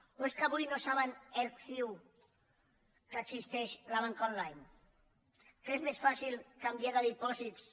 o és que avui no saben erc ciu que existeix la banca online que és més fàcil canviar de dipòsits